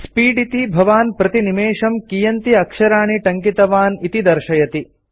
speed इति भवान् प्रतिनिमेषं कीयन्ति अक्षराणि टङ्कितवान् इति दर्शयति